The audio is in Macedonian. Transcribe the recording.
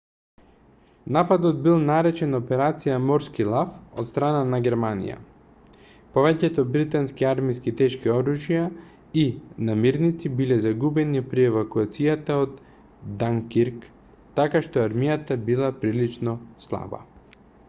нападот бил наречен операција морски лав од страна на германија повеќето британски армиски тешки оружја и намирници биле загубени при евакуацијата од данкирк така што армијата била прилично слаба